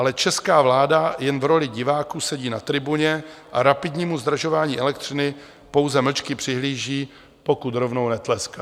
Ale česká vláda jen v roli diváků sedí na tribuně a rapidnímu zdražování elektřiny pouze mlčky přihlíží, pokud rovnou netleská.